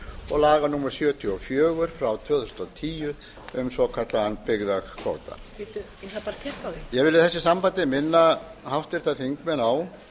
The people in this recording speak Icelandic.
og laga númer sjötíu og fjögur tvö þúsund og tíu um svokallaðan byggðakvóta ég vil í þessu sambandi minna háttvirtir þingmenn á